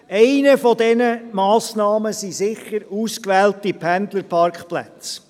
Eine dieser Massnahmen sind sicher ausgewählte Pendlerparkplätze.